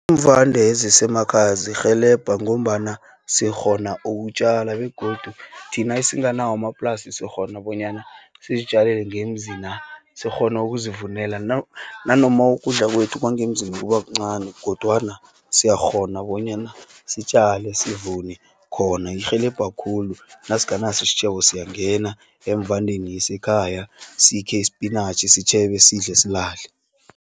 Iimvande ezisemakhaya zirhelebha, ngombana sikghona ukutjala, begodu thina esinganawo amaplasi, sikghona bonyana sizitjalele ngemzi na, sikghonu ukuzivunela, nanoma ukudla kwethu kwangemzini kubakuncani, kodwana siyakghona bonyana sitjale, sivune khona. Irhelebha khulu, nasinganaso isitjhebo siyangena eemvandeni yasekhaya sikhe ispinatjhi, sitjhebe, sidle silale.